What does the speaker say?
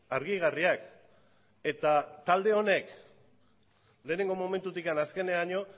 argigarriak eta talde honek lehenengo momentutik azkeneraino